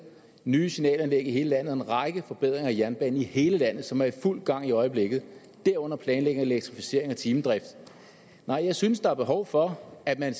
nye signalanlæg i hele landet og en række forbedringer af jernbanen i hele landet som er i fuld gang i øjeblikket derunder planlægning af elektrificering og timedrift nej jeg synes der er behov for at man